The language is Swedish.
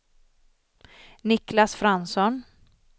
Niklas Fransson